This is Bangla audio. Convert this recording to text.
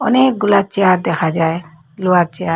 অনেকগুলা চেয়ার দেখা যায় লোহার চেয়ার ।